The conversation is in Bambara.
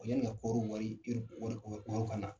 yani ŋa kooro bɔri ir wɔri wɔri wɔri kana